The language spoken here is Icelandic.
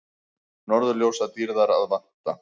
Norðurljósadýrðar að vænta